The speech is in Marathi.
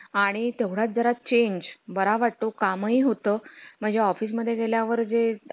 आणि तेवढ्यात जरा change बरा वाटतो काम होतं म्हणजे office मध्ये गेल्या वर जे